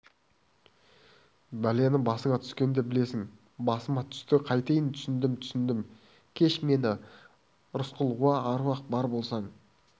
бәлені басыңа түскенде білесің басыма түсті қайтейін түсіндім түсіндім кеш мені рысқұл уа аруақ бар болсаң